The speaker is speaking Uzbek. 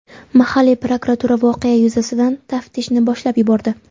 Mahalliy prokuratura voqea yuzasidan taftishni boshlab yubordi.